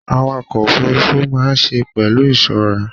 Àwàkọ̀ òfurùnfu máa ṣe pẹlu ìṣọrà